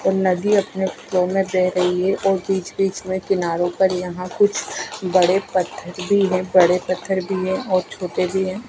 और नदी अपने फ्लो में बह रही है और बीच बीच में किनारों पर यहाँ कुछ बड़े पत्थर भी हैं बड़े पत्थर भी हैं और छोटे भी हैं।